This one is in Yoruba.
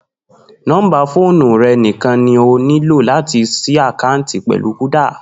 Nó̩ḿbà fóònù rè̩ nìkan ni o nílò láti s̩í àkáàǹtì pè̩lú Kúdà